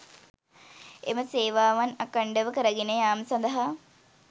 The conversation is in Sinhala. එම සේවාවන් අඛණ්ඩව කරගෙන යාම සඳහා